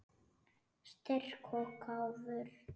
Styrk og gáfur.